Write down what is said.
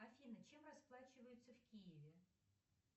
афина чем расплачиваются в киеве